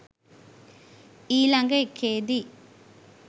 ඊලග එකේදී